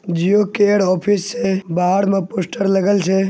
जिओ के head office से । बाहर मे पोस्टर लगेल छे।